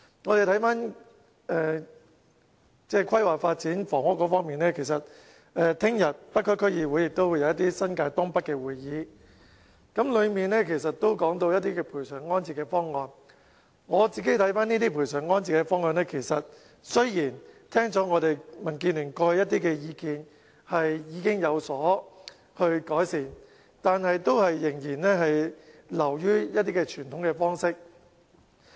我個人對這些賠償安置方案的看法是，政府雖然在聽取民建聯過去一些意見後，已經對方案有所改善。但是，這項發展仍然流於一些傳統方式。